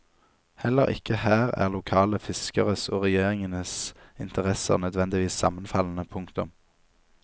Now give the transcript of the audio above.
Heller ikke her er lokale fiskeres og regjeringenes interesser nødvendigvis sammenfallende. punktum